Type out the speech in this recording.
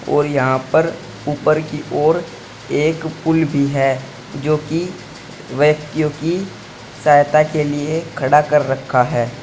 और यहां पर ऊपर की ओर एक पुल भी है जो कि व्यक्तियों की सहायता के लिए खड़ा कर रखा है।